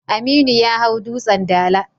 Aminu ya hau Dutsen Dala.